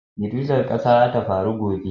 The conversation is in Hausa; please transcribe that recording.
Girgizan ƙasa za ta faru gobe